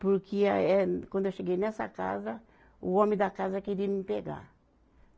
Porque a eh, quando eu cheguei nessa casa, o homem da casa queria me pegar.